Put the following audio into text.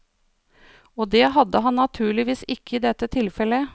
Og det hadde han naturligvis ikke i dette tilfellet.